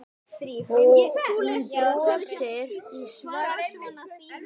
Hún brosir í svefninum.